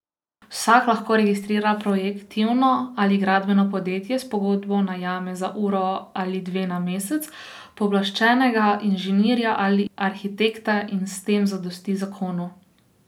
Vsak lahko registrira projektivno ali gradbeno podjetje, s pogodbo najame za uro ali dve na mesec pooblaščenega inženirja ali arhitekta in s tem zadosti zakonu.